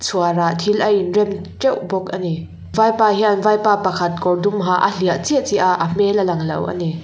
chhuar ah thil a in rem teuh bawk ani vaipa hian vaipa pakhat kawr dum ha a hliah chiah chiah a a hmel a lang lo ani.